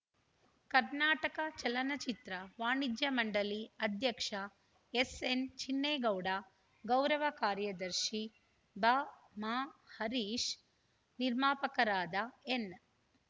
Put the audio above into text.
ಕರ್ನಾಟಕ ಚಲನಚಿತ್ರ ವಾಣಿಜ್ಯ ಮಂಡಳಿ ಅಧ್ಯಕ್ಷ ಎಸ್‌ಎನ್ ಚಿನ್ನೇಗೌಡ ಗೌರವ ಕಾರ್ಯದರ್ಶಿ ಬಾಮಾ ಹರೀಶ್‌ ನಿರ್ಮಾಪಕರಾದ ಎನ್‌